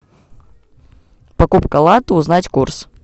покупка лата узнать курс